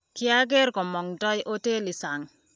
kiageer kumongtoi hotelii sang